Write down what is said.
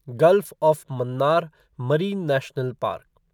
gulf of Mannar Marine National park